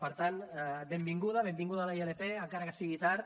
per tant benvinguda benvinguda la ilp encara que sigui tard